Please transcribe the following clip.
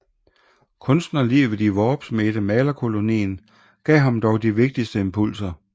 Kunstnerlivet i Worpswedemalerkolonien gav ham dog de vigtigste impulser